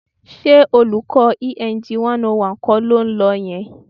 Ṣé olùkọ́ Eng 101 kọ́ ló ń lọ yẹn?